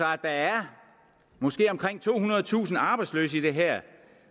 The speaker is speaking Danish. at der er måske tohundredetusind arbejdsløse i det her